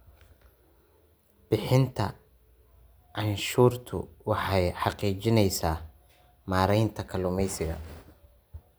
Bixinta cashuurtu waxay xaqiijinaysaa maaraynta kaluumaysiga.